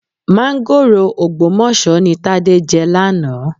Máńgòrò Ògbómọ̀ṣọ́ ni Tádé jẹ lánàá.